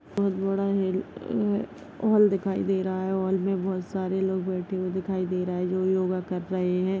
बहुत बड़ा है अ हॉल दिखाई दे रहा है हॉल मे बहुत सारे लोग बैठे हुए दिखाई दे रहे है जो योगा कर रहे है।